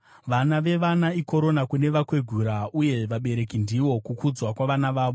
Vana vevana ikorona kune vakwegura, uye vabereki ndivo kukudzwa kwavana vavo.